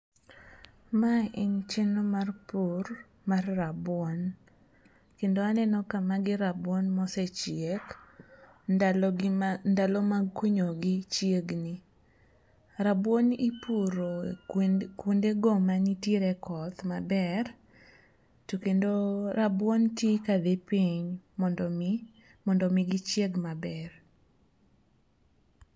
Mae en chenro mar pur mar rabuon kendo aneno ka magi rabuon mosechiek ndalo mag kunyogi chiegni. Rabuon ipuro kuonde go manitiere koth maber to kendo rabuon ti kadhi piny mondo omi gichieg maber.